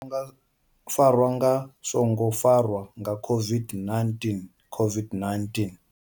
Farwa nga songo farwa nga COVID-19 COVID-19.